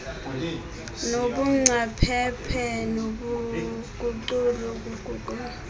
nobungcaphephe nobuncutshe kuguqulo